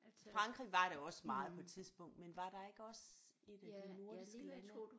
Frankrig var det også meget på et tidspunkt men var der ikke også et af de nordiske lande